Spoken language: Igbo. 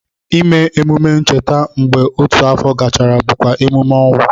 Ime emume ncheta mgbe otu afọ gachara bụkwa emume ọnwụ